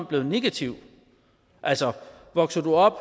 blevet negativ altså vokser du op